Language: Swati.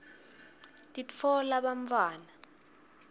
titfola bantfwana